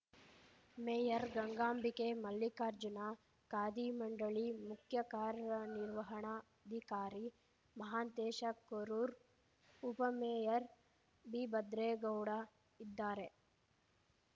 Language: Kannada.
ಮೇಯರ್ ಗಂಗಾಂಬಿಕೆ ಮಲ್ಲಿಕಾರ್ಜುನ ಖಾದಿ ಮಂಡಳಿ ಮುಖ್ಯ ಕಾರ್ಯನಿರ್ವಹಣಾಧಿಕಾರಿ ಮಹಾಂತೇಶ ಕರೂರ್‌ ಉಪಮೇಯರ್‌ ಬಿಭದ್ರೇಗೌಡ ಇದ್ದಾರೆ